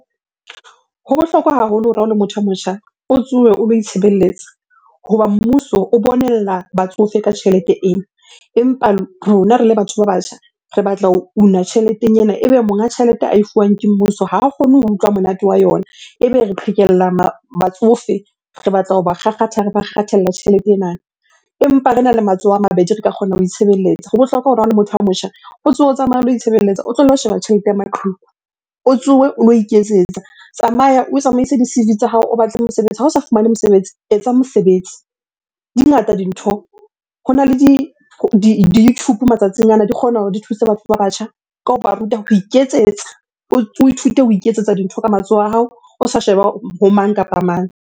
Ho bohlokwa haholo hore ha o le motho ya motjha, o tsowe o lo itshebelletsa. Hoba mmuso o batsofe ka tjhelete ena empa rona re le batho ba batjha re batla ho una tjheleteng ena. Ebe monga tjhelete ae fuwang ke mmuso, ha kgone ho utlwa monate wa yona. Ebe re qhekella batsofe re batla hoba kgakgatha, re ba tjhelete ena empa rena le matsoho a mabedi re ka kgona ho itshebeletsa. Ho bohlokwa hore ha o le motho a motjha, o tsohe, o tsamaye o lo itshebeletsa. O tlwelle ho sheba tjhelete ya maqheku. O tsohe o lo iketsetsa, tsamaya o tsamaise di-C_V tsa hao, o batle mosebetsi. Ha o sa fumane mosebetsi, etsa mosebetsi. Di ngata dintho. Hona le di YouTube matsatsing ana, di kgona hore di thuse batho ba batjha ka hoba ruta ho iketsetsa. O ithute ho iketsetsa dintho ka matsoho a hao, o sa sheba ho mang kapa mang?